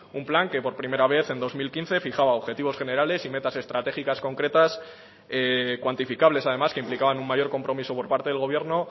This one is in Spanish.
un plan que por primera vez en dos mil quince fijaba objetivos generales y metas estratégicas concretas cuantificables además que implicaban un mayor compromiso por parte del gobierno